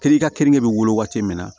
Kere i ka keninke be wele waati min na